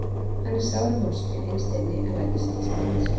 Hann er sár og vonsvikinn innst inni en lætur samt sem ekkert sé.